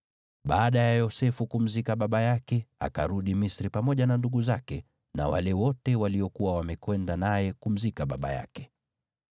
Baada ya Yosefu kumzika baba yake, akarudi Misri pamoja na ndugu zake na wale wote waliokuwa wamekwenda naye kumzika baba yake.